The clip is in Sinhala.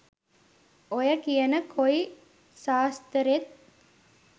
ඔය කියන කොයි සාස්තරෙත්